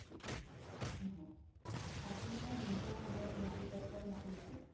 হয় আপোনাৰ নিজা নামত মিয়াধিকত্তাৰ মাতি আছে